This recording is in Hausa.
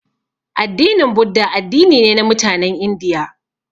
Addinin budda addini ne na mutanen indiya